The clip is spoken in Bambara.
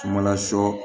Sumala sɔ